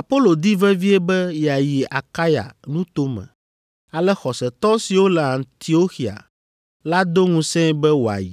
Apolo di vevie be yeayi Akaya nuto me, ale xɔsetɔ siwo le Antioxia la do ŋusẽe be wòayi.